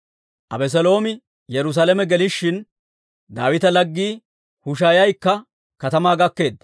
Abeseeloomi Yerusaalame gelishin, Daawita laggii Hushaaykka katamaa gakkeedda.